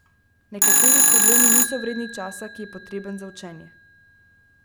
Nekateri problemi niso vredni časa, ki je potreben za učenje.